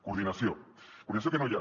coordinació coordinació que no hi ha